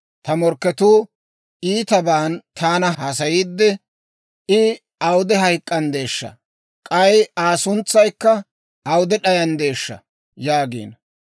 Ta morkketuu iitaban taana haasayiidde, «I awude hayk'k'anddeeshsha? K'ay Aa suntsaykka awude d'ayanddeeshsha?» yaagiino.